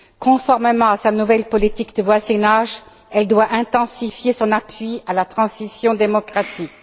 Conformément à sa nouvelle politique de voisinage, elle doit intensifier son appui à la transition démocratique.